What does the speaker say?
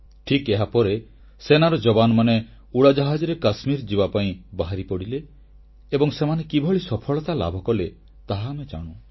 ଠିକ୍ ଏହାପରେ ସେନାର ଜବାନମାନେ ଉଡ଼ାଜାହାଜରେ କାଶ୍ମୀର ଯିବାପାଇଁ ବାହାରିପଡ଼ିଲେ ଏବଂ ସେମାନେ କିଭଳି ସଫଳତା ଲାଭକଲେ ତାହା ଆମେ ଜାଣୁ